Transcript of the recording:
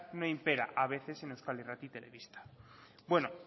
no impera a veces en euskal irrati telebista bueno